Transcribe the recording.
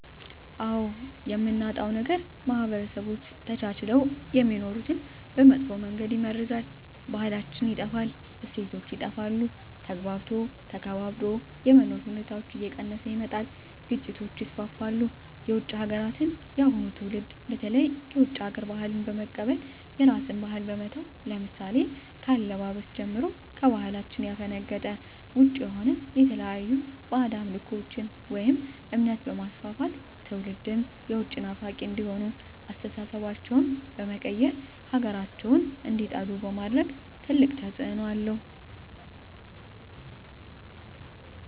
አዎ የምናጣው ነገር ማህበረሰቦች ተቻችለው የሚኖሩትን በመጥፎ መንገድ ይመርዛል , ባህላችን ይጠፋል, እሴቶች ይጠፋሉ, ተግባብቶ ተከባብሮ የመኖር ሁኔታዎች እየቀነሰ ይመጣል ግጭቶች ይስፋፋሉ። የውጭ ሀገራትን የአሁኑ ትውልድ በተለይ የውጭ ሀገር ባህልን በመቀበል የራስን ባህል በመተው ለምሳሌ ከአለባበስ ጀምሮ ከባህላችን ያፈነገጠ ውጭ የሆነ የተለያዩ ባህድ አምልኮቶችን ወይም እምነት በማስፋፋት ትውልድም የውጭ ናፋቂ እንዲሆኑ አስተሳሰባቸው በመቀየር ሀገራቸውን እንዲጠሉ በማድረግ ትልቅ ተፅዕኖ አለው።